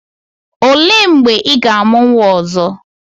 O lee mgbe ị ga-amụ nwa ọzọ?